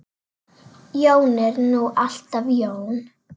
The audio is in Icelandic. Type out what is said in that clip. Jón er nú alltaf Jón.